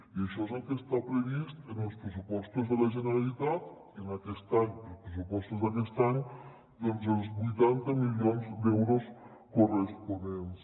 i això és el que està previst en els pressupostos de la generalitat aquest any als pressupostos d’aquest any doncs els vuitanta milions d’euros corresponents